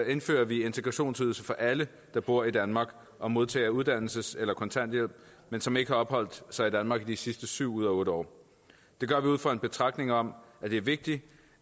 indfører vi integrationsydelse for alle der bor i danmark og modtager uddannelses eller kontanthjælp men som ikke har opholdt sig i danmark de sidste syv ud af otte år det gør vi ud fra en betragtning om at det er vigtigt